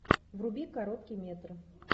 вруби короткий метр